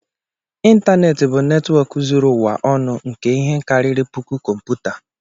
Ịntanetị bụ netwọk zuru ụwa ọnụ nke ihe kariri puku kọmputa